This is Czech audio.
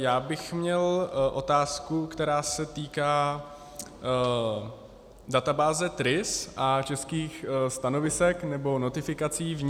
Já bych měl otázku, která se týká databáze TRIS a českých stanovisek nebo notifikací v ní.